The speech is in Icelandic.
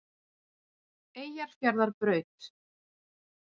Eyjafjarðarbraut